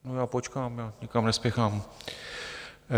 No já počkám, já nikam nespěchám.